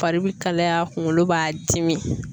Fari bi kalaya kunkolo b'a dimi